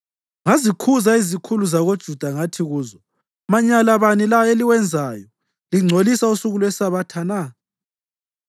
Ngazikhuza izikhulu zakoJuda ngathi kuzo, “Manyala bani la eliwenzayo lingcolisa usuku lweSabatha na?